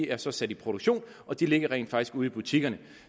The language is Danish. er så sat i produktion og de ligger rent faktisk ude i butikkerne